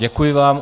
Děkuji vám.